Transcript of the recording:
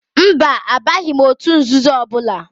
Mba, abaghị m òtù nzuzo ọbụla.